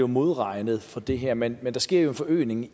modregnet for det her men der sker jo en forøgelse